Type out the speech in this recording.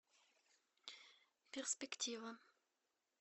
перспектива